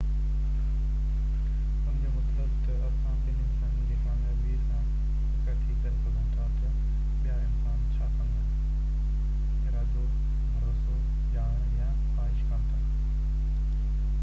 ان جو مطلب تہ اسان ٻين انسانن جي ڪاميابي سان اڳڪٿي ڪري سگهون ٿا تہ ٻيا انسان ڇا سمجهن ارادو ڀروسو ڄاڻڻ يا خواهش ڪن ٿا